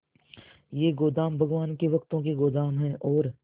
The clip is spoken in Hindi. ये गोदाम भगवान के भक्तों के गोदाम है और